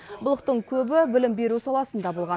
былықтың көбі білім беру саласында болған